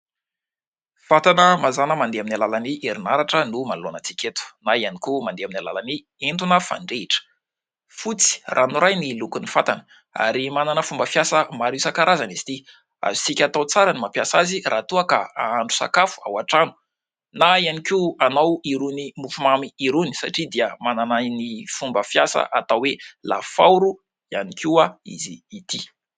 Fatana mazàna mandeha amin'ny alalany herinaratra no manoloana antsika eto, na iany koa mandeha amin'ny alalan' ny entona fandrehitra. Fotsy ranoray ny lokon'ny fatana ary manana fomba fiasa maro isan-karazany izy ity. Azontsika atao tsara ny mampiasa azy raha toa ka ahandro sakafo ao an-trano na iany koa anao irony mofomamy irony satria dia manana ny fomba fiasa atao hoe « lafaoro » iany koa izy ity.